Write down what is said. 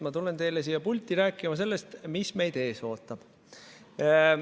Ma tulen teile siia pulti rääkima sellest, mis meid ees ootab.